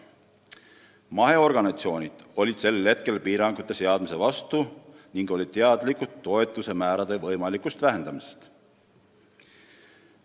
Maheorganisatsioonid olid tollal piirangute seadmise vastu ning nad olid teadlikud toetuste määrade võimalikust vähendamisest.